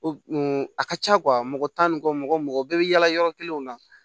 a ka ca mɔgɔ tan ni kɔ mɔgɔ mɔgɔ bɛɛ bɛ yala yɔrɔ kelen na